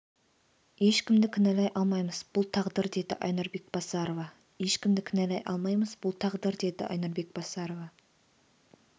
ешкімді кінәлай алмаймыз бұл тағдыр деді айнұр бекбасарова ешкімді кінәлай алмаймыз бұл тағдыр деді айнұр бекбасарова